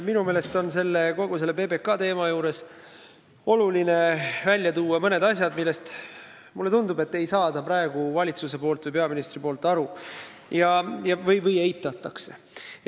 Minu meelest on kogu selle PBK teema juures oluline välja tuua mõned asjad, millest, nagu mulle tundub, ei saa praegu valitsus või peaminister aru või mida eitatakse.